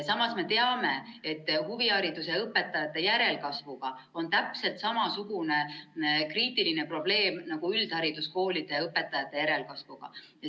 Samas me teame, et huvihariduse õpetajate järelkasvuga on täpselt sama kriitiline probleem nagu üldhariduskoolide õpetajate järelkasvuga.